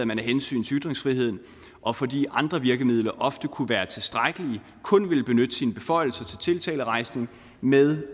man af hensyn til ytringsfriheden og fordi andre virkemidler ofte ville kunne være tilstrækkelige kun ville benytte sin beføjelse til tiltalerejsning med den